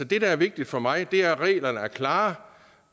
det der er vigtigt for mig er at reglerne er klare